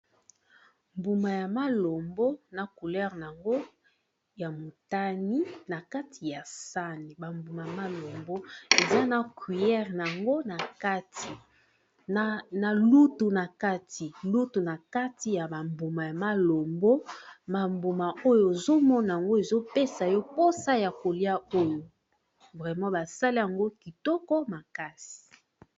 Mbuma ya malombo ,na coulere nango ya motani na kati ya sani ba mbuma malombo eza na cuillère nango na kati ! na lutu na kati ! ba mbuma ya malombo ba mbuma oyo ozomona ango ezopesa yo mposa ya kolia oyo vraima ! basala yango kitoko makasi.